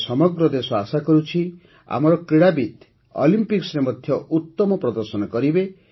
ଏବେ ସମଗ୍ର ଦେଶ ଆଶା କରୁଛି ଆମର କ୍ରୀଡ଼ାବିତ୍ ଅଲିମ୍ପିକ୍ସରେ ମଧ୍ୟ ଉତ୍ତମ ପ୍ରଦର୍ଶନ କରିବେ